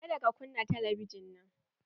Ka da ka kunna talabijin nan!